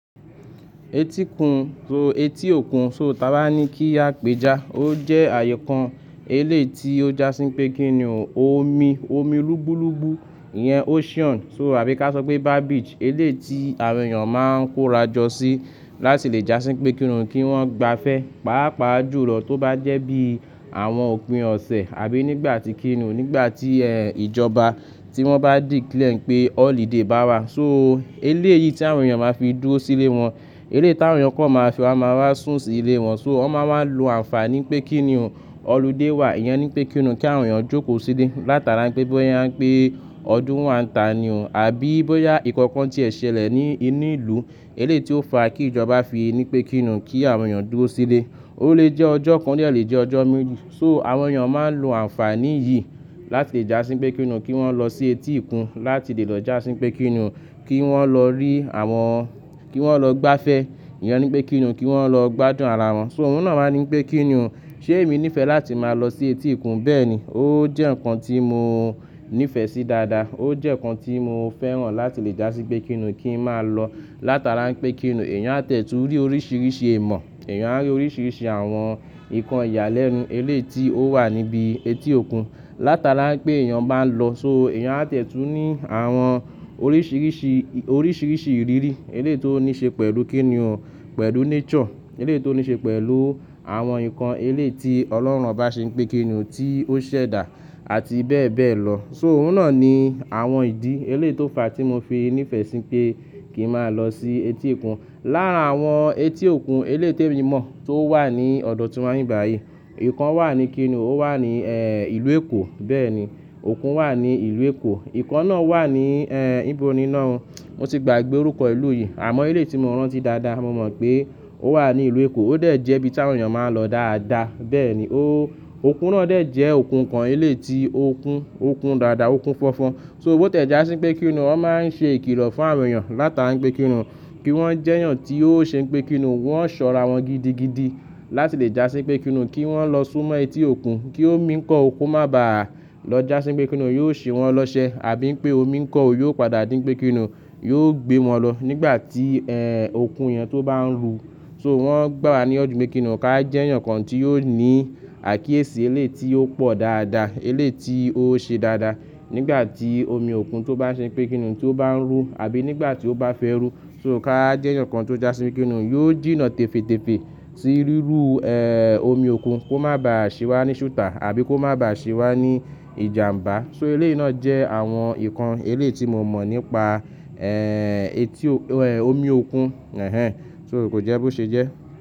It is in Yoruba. Etíkun so etí òkun so taaba ni ki a peja. O jẹ ayé kan ele ti o jasin pe ki ni omi, omi lugbulubu, iyan ocean so àbí ka sopé beach. Ele ti àwọn ééyàn ma n kóra jọ sí láti le jasin pé kíni kín wọn gba fe. Paapaa ju lọ to ba jẹ bi àwọn òpin ọsẹ àbí nígbà ti kíni nígbà tí eh ìjọba ti won ba declare pé holiday ba wa. So eléèyì ti àwọn ééyàn ma n fi dúró sílé won. Ele ti àwọn ééyàn kó ma fi wa ma wa sun sílé won so wọn ma n lo ànfàní pé kíni òun holiday wa. Iyẹn nipé kíni kín àwọn ééyàn jókòó sílé látara pé bóyá pé ọdún wa n ta ni o àbí bóyá nkankan ti ẹ ṣẹlẹ̀ ní inú ìlú. Eléyìí ti o fa kí ìjọba fi nipé kín kí àwọn ééyàn dúró sílé. O le jẹ́ ọjọ́ kan le jẹ́ ọjọ́ méjì. So àwọn ééyàn ma n lo ànfàní yìí láti le jasin pé kíni kín won lọ sí etí òkun láti le lọ jasin pé kíni kín won lọ rí àwọn kí won lọ gbáfẹ. Iyẹn nipé kín ni, kí won lọ gbádùn ara won. So oun náà wáa nipé kín ni ṣe èmi nífẹ̀ẹ́ láti máa lọ sí etí òkun. Bẹ́ẹ̀ni, o jẹ́ nǹkan tí mo nífẹ̀ẹ́ sí dáadáa. O jẹ́ nǹkan tí mo fẹ́ràn láti le jasin pé kíni kín máa lọ látara pé kíni èèyàn á tìẹ tún ri oríṣiríṣi ìmọ̀. Èèyàn á rí oríṣiríṣi àwọn nǹkan ìyàlẹ́nu. Ele ti o wa nibi etí òkun látara pé èèyàn bá n lọ. So èèyàn á tẹ̀tù ní àwọn oríṣiríṣi, oríṣiríṣi ìrírí. Ele ti o ní ṣe pẹ̀lú kín ni o pẹ̀lú nature. Ele ti o ní ṣe pẹ̀lú àwọn nǹkan ele ti ọlọ́run ba ṣe pé kíni ti o ṣẹ̀dá àti bẹ́ẹ̀ bẹ́ẹ̀ lọ. So oun náà ni àwọn ìdí. Eléyìí ti o fa tí mo fi nífẹ̀ẹ́ sí pé kín máa lọ sí etí òkun. Lára àwọn etí òkun, eléyìí tèmi mo mọ̀ to wa ní ọdọ̀ tí wà níbí bàyìí. Ìkan wà ní kíni ó wà ní eh ìlú Èkó. Bẹ́ẹ̀ni, òkun wà ní ìlú Èkó. Ìkan náà wà ní eh ibo ni náà. Mo ti gbàgbé orúkọ ìlú yìí àmọ́ ele ti mo rántí dáadáa mo mọ̀ pé o wà ní ìlú Èkó. O dẹ jẹ́ ibi tí àwọn ééyàn ma n lọ dáadáa. Bẹ́ẹ̀ni, o òkun náà dẹ̀ jẹ́ òkun kan. Eléyìí ti òkun, òkun dáadáa, òkun fọ́fọ́. So o tìẹ jásí n pé kíni won ma n ṣe ìkìlọ fún àwọn ééyàn látara pé kíni wọn kí won jẹ́ èèyàn tí yóò ṣe pé kíni wọn ṣọra wọn gidigidi láti le jasin pé kíni kín won lọ sún mó etí òkun. Kí omi ńkọ́ o ko má bá a lọ jasin pé kíni yóò ṣe won lọ́ṣẹ́ àbí pé omi ńkọ́ òkun yóò padà dí wipé kíni yóò gbé won lọ nígbà tí eh òkun yen tó bá n ru. So wọn gbà wá ní ìyànjú mi kín ká jẹ́ èèyàn kan tí yóò ní àkíyèsí eléyìí tí ó pọ̀ dáadáa. Eléyìí ti ó ṣe dáadáa. Nígbà tí omi òkun tó bá ṣe pé kíni tó bá ń rú àbí nígbà tí ó bá fẹ́ rú. So ká jẹ́ èèyàn kan tó jasin pé kíni yóò jìnnà tèfetèfe sí rírú eh omi òkun kó má bá à ṣe wà ní ṣùtà àbí kó má bá à ṣíwà ní ìjàmbá. So eléèyì náà jẹ́ àwọn nǹkan eléyìí ti mo mọ̀ nípa eh etí o eh omi òkun. Ehẹn. So o kò jẹ́ bó ṣe jẹ́.